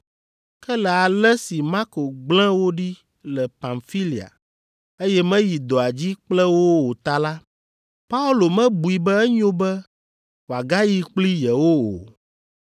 Ke le ale si Marko gblẽ wo ɖi le Pamfilia, eye meyi dɔa dzi kple wo o ta la, Paulo mebui be enyo be wòagayi kpli yewo o.